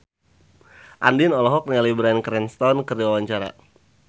Andien olohok ningali Bryan Cranston keur diwawancara